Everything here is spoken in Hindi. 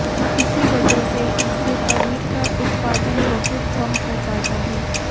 इसी वजह से इससे पनीर का उत्पादन बहुत कम हो पाता है